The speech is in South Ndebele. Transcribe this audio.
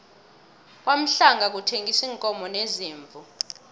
kwamahlangu bathengisa iinkomo neziimvu